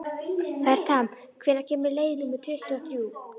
Fertram, hvenær kemur leið númer tuttugu og þrjú?